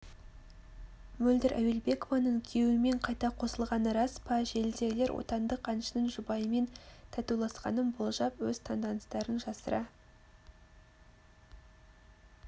мөлдір әуелбекованың күйеуімен қайта қосылғаны рас па желідегілер отандық әншінің жұбайымен татуласқанын болжап өз таңданыстарын жасыра